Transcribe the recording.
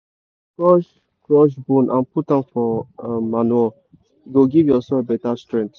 to give maize better start we dey put manure inside um trench before we plant um am.